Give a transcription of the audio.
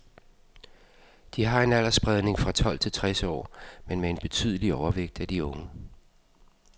De har en aldersspredning fra tolv til tres år, men med en tydelig overvægt af de unge.